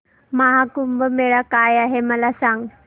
महा कुंभ मेळा काय आहे मला सांग